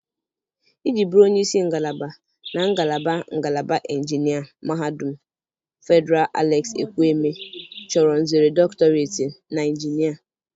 Iji bụrụ onye isi ngalaba na ngalaba ngalaba injinia Mahadum Fedịral Alex Ekwueme chọrọ nzere dọktọreti na injinia.